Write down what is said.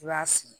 I b'a sigi